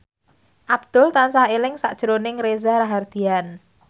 Abdul tansah eling sakjroning Reza Rahardian